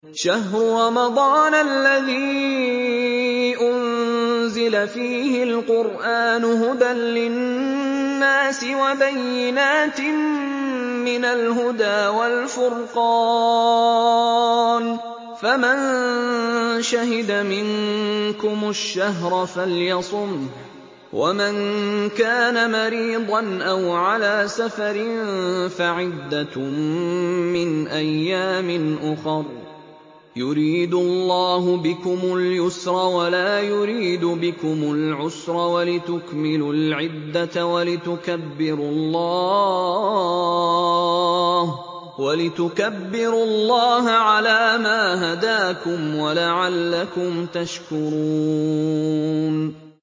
شَهْرُ رَمَضَانَ الَّذِي أُنزِلَ فِيهِ الْقُرْآنُ هُدًى لِّلنَّاسِ وَبَيِّنَاتٍ مِّنَ الْهُدَىٰ وَالْفُرْقَانِ ۚ فَمَن شَهِدَ مِنكُمُ الشَّهْرَ فَلْيَصُمْهُ ۖ وَمَن كَانَ مَرِيضًا أَوْ عَلَىٰ سَفَرٍ فَعِدَّةٌ مِّنْ أَيَّامٍ أُخَرَ ۗ يُرِيدُ اللَّهُ بِكُمُ الْيُسْرَ وَلَا يُرِيدُ بِكُمُ الْعُسْرَ وَلِتُكْمِلُوا الْعِدَّةَ وَلِتُكَبِّرُوا اللَّهَ عَلَىٰ مَا هَدَاكُمْ وَلَعَلَّكُمْ تَشْكُرُونَ